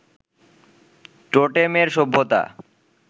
টোটেমের সভ্যতা